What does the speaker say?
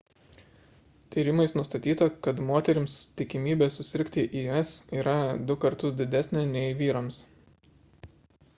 tyrimais nustatyta kad moterims tikimybė susirgti is yra du kartus didesnė nei vyrams